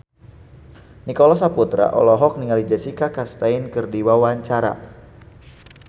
Nicholas Saputra olohok ningali Jessica Chastain keur diwawancara